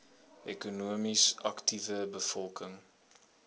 ekonomies aktiewe bevolking